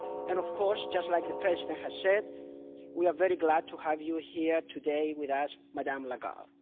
And, of course, like the President has said, we are very glad to have you here today with us, Ms Lagarde.